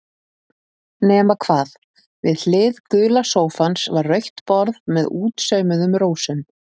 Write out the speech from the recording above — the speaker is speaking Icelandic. Nema hvað, við hlið gula sófans var rautt borð með útsaumuðum rósum.